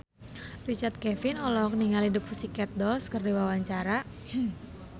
Richard Kevin olohok ningali The Pussycat Dolls keur diwawancara